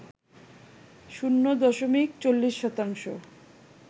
শূণ্য দশমিক ৪০ শতাংশ